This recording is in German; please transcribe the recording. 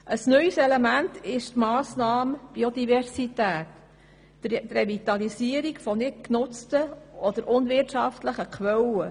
Ein neues Element ist die Massnahme Biodiversität und die Revitalisierung von nicht mehr genutzten oder unwirtschaftlichen Quellen.